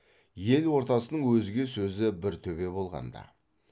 ел ордасының өзге сөзі бір төбе болғанда